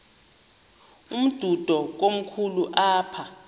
umdudo komkhulu apha